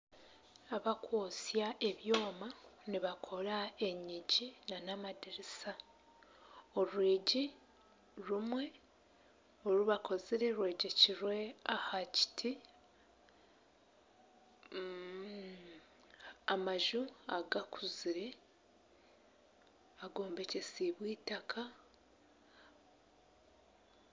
Abakwotsya ebyoma nibakora enyigi n'amadirisa. Orwigi rumwe orubakozire rwegyekirwe aha kiti. Amaju agakuzire agombekyesiibwe eitaka.